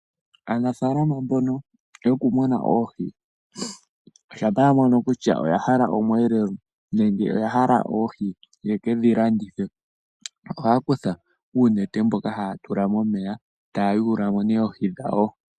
Aanafaalama mbono yoku muna oohi shampa ya mono kutya oya hala omweelelo nenge oya hala oohi yekedhi landithe, ohaya kutha uunete mboka haya tula momeya, taya yuula mo nee oohi dhawo.